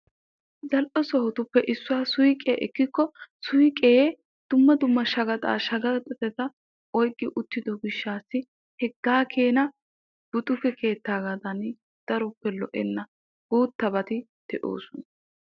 Zal"e sohotuppe issuwaa suyqiyaa ekkiko suyqee dumma dumma shaqaxaa shaqaxata oyqqi uttido gishshassi hegaa keena butuke kettaadani daroppe lo"enna. guuttabati de'oosona.